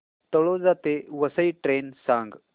तळोजा ते वसई ट्रेन सांग